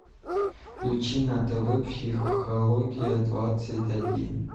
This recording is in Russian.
включи на тв психология двадцать один